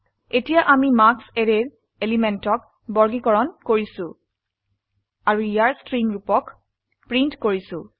এতিয়া আমি মাৰ্কছ অ্যাৰেৰ এলিমেন্টক বৰ্গীকৰণ কৰিছো আৰু ইয়াৰ স্ট্ৰিং ৰুপক প্ৰিন্ট কৰিছো